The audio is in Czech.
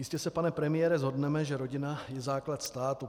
Jistě se, pane premiére, shodneme, že rodina je základ státu.